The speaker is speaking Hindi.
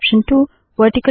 command 2 option 1